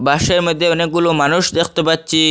বাঁশের মধ্যে অনেকগুলো মানুষ দেখতে পাচ্ছি।